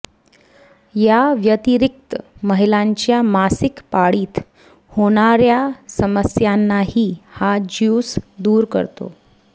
याव्यतिरिक्त महिलांच्या मासिक पाळीत होणाऱ्या समस्यांही हा ज्यूस दूर करतो